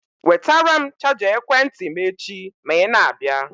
Wetara m chaja ekwentị m echi ma i na-abịa.